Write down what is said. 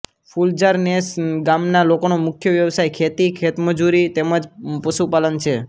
ફુલઝાર નેસ ગામના લોકોનો મુખ્ય વ્યવસાય ખેતી ખેતમજૂરી તેમ જ પશુપાલન છે